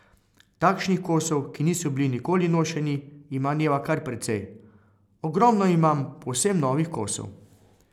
Takšnih kosov, ki niso bili nikoli nošeni, ima Neva kar precej: "Ogromno imam povsem novih kosov.